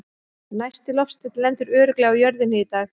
Næsti loftsteinn lendir örugglega á jörðinni í dag!